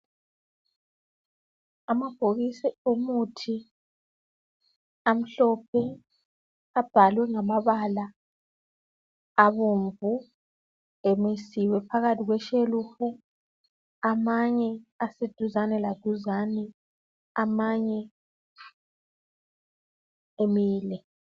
Amabhokisi omuthi amhlophe abhalwe ngamabala abomvu emisiwe phakathi kweshelufu amanye aseduzane laduzane amanye emile